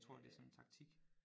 Jeg tror det sådan en taktik